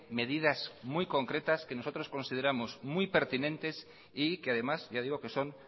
medidas muy concretas que nosotros consideramos muy pertinentes y que además ya digo que son